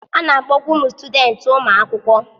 A na-akpọkwa ụmụ sutudenti ụmụ akwụkwọ.